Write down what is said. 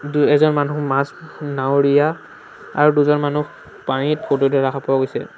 দু এজন মানুহ মাছ নাৱৰীয়া আৰু দুজন মানুহ পানীত ফটো উঠা দেখা পোৱা গৈছে।